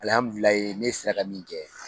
ne sera ka min kɛ